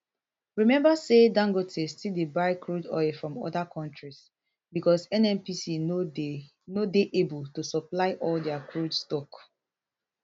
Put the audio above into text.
remember say dangote still dey buy crude from oda kontris bicos nnpc no dey able to supply all dia crude stock